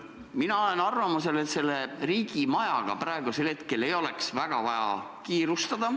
Mina olen arvamusel, et riigimajadega ei oleks praegu vaja väga kiirustada.